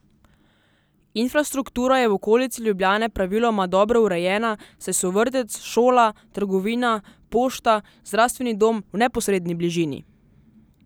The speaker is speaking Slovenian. Infrastruktura je v okolici Ljubljane praviloma dobro urejena, saj so vrtec, šola, trgovina, pošta, zdravstveni dom v neposredni bližini.